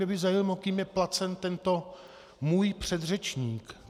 Mě by zajímalo, kým je placen tento můj předřečník.